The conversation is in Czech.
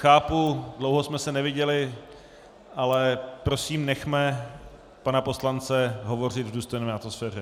Chápu, dlouho jsme se neviděli, ale prosím, nechme pana poslance hovořit v důstojné atmosféře.